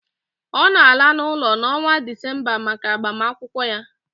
Ọ na-ala n'ụlọ n'ọnwa Disemba maka agbamakwụkwọ ya